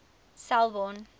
selborne